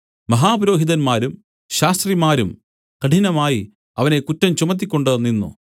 മഹാപുരോഹിതന്മാരും ശാസ്ത്രിമാരും കഠിനമായി അവനെ കുറ്റം ചുമത്തിക്കൊണ്ട് നിന്നു